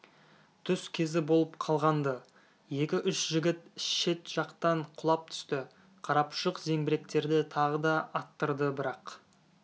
түс кезі болып қалған-ды екі-үш жігіт шет жақтан құлап түсті қарапұшық зеңбіректерді тағы да аттырды бірақ